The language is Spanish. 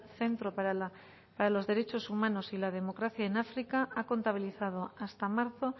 centro para los derechos humanos y la democracia en áfrica ha contabilizado hasta marzo